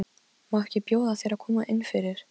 Má ekki bjóða þér að koma inn fyrir?